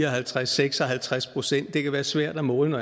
og halvtreds seks og halvtreds procent det kan være svært at måle